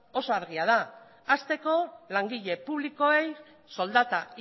oso argia da hasteko langile publikoei soldata